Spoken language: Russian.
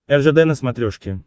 ржд на смотрешке